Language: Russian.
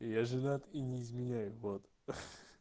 я женат и не изменяю вот